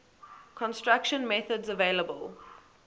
construction methods available